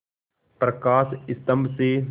प्रकाश स्तंभ से